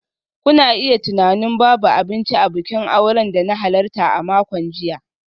Kuna iya tunanin babu abinci a bikin auren da na halarta a makon jiya.